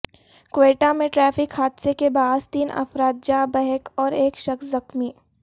کوئٹہ میں ٹریفک حادثے کے باعث تین افراد جاں بحق اور ایک شخص زخمی